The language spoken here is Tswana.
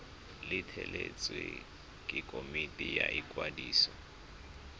letleletswe ke komiti ya ikwadiso